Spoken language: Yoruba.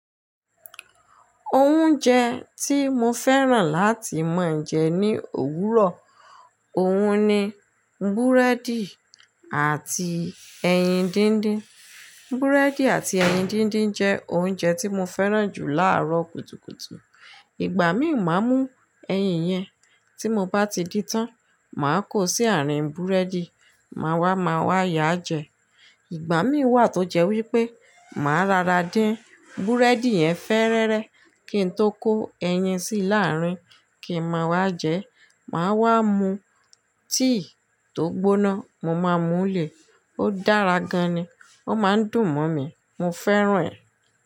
Oúnjẹ tí mo fẹ́ràn láti máa ń jẹ ní òwúrọ̀, òun ni búrẹ́dì àti ẹyin díndín. Búrẹ́dì àti ẹyin díndín jẹ́ oúnjẹ tí mo fẹ́ràn jù láàárọ̀ kùtùkùtù. Ìgbà mí ò máa mú ẹyin yẹn, tí mo bá ti dí tán, màá kó sí àárín búrẹ́dì, màá wá, màá wá yá jẹ. Ìgbà mí wà tó jẹ́ wípé máa rara din, búrẹ́dì yẹn fẹ́rẹ́rẹ́ kí n tó kó ẹyin sí láàárín, kì í máa wá jẹ. Màá wá mu tíì tó gbóná, mo máa mú lè, ó dára gan ni, ó máa ń dùn mọ́ mi, mo fẹ́ràn rẹ̀.